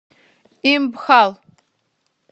импхал